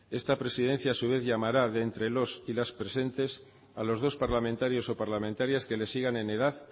esta presidencia a su vez llamará de entre los y las presentes a los dos parlamentarios o parlamentarias que le sigan en edad